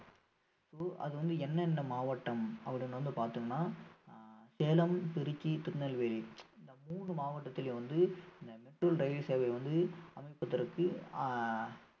அது வந்து என்னென்ன மாவட்டம் அப்படின்னு வந்து பார்த்தோம்ன்னா ஆஹ் சேலம் திருச்சி திருநெல்வேலி இந்த மூணு மாவட்டத்திலும் வந்து இந்த metro ரயில் சேவை வந்து அமைப்பதற்கு ஆஹ்